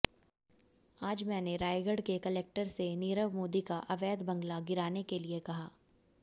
आज मैंने रायगढ़ के कलेक्टर से नीरव मोदी का अवैध बंगला गिराने के लिए कहा